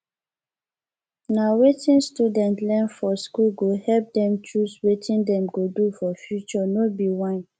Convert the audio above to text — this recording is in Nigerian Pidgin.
na wetin students learn for school go help dem choose wetin dem go do for future no be whine